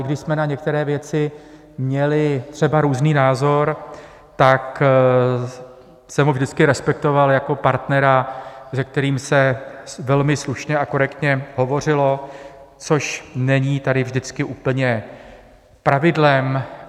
I když jsme na některé věci měli třeba různý názor, tak jsem ho vždycky respektoval jako partnera, se kterým se velmi slušně a korektně hovořilo, což není tady vždycky úplně pravidlem.